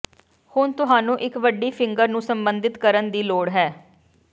ਹੁਣ ਤੁਹਾਨੂੰ ਇੱਕ ਵੱਡੀ ਫਿੰਗਰ ਨੂੰ ਸਬੰਧਤ ਕਰਨ ਦੀ ਲੋੜ ਹੈ